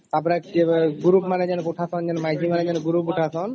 ତ ପରେ group ମାନେ ଯୋଉ ମାଇପୀ ମାନେ ଯୋଉ group ଉଠାଶାନ